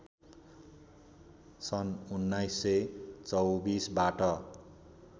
सन् १९२४ बाट